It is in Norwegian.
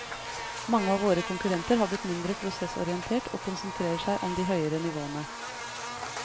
Mange av våre konkurrenter har blitt mindre prosessorientert og konsentrerer seg om de høyere nivåene.